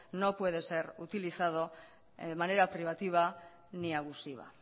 no puede ser utilizado de manera privativa ni abusiva